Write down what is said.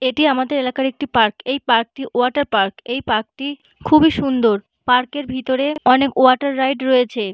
এটি আমাদের এলাকার একটি পার্ক । এই পার্ক -টি ওয়াটার পার্ক । এই পার্ক -টি খুবই সুন্দর। পার্ক -এর ভিতরে অনেক ওয়াটার রাইড রয়েছে।